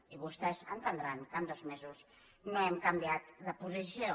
i vostès entendran que en dos mesos no hem canviat la posició